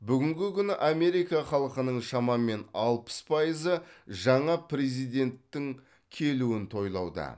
бүгінгі күні америка халқының шамамен алпыс пайызы жаңа президенттің келуін тойлауда